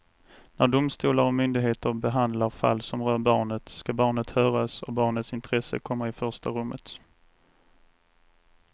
När domstolar och myndigheter behandlar fall som rör barnet ska barnet höras och barnets intresse komma i första rummet.